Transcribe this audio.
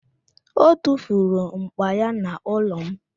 O tufuru m̀kpá ya n'ụlọ m